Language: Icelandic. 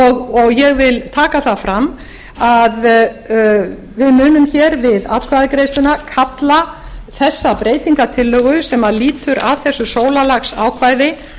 og ég vil taka það fram að við munum við atkvæðagreiðsluna kalla þessa breytingartillögu sem lýtur að þessu sólarlagsákvæði